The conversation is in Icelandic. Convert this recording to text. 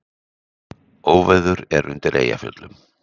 Óveður er er undir Eyjafjöllum